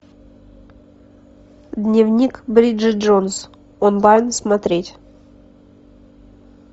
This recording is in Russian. дневник бриджит джонс онлайн смотреть